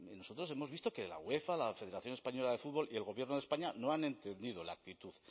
nosotros hemos visto que la uefa la federación española de fútbol y el gobierno de españa no han entendido la actitud